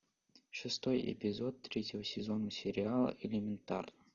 шестой эпизод третьего сезона сериала элементарно